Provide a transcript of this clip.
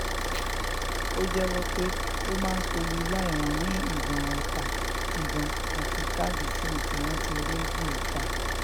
ó jẹ́wọ́ pé òun máa ń sọ̩lúlàì wọn ní ìbọn ọta ìbọn àti káàdì sim tí wọ́n ti rejúta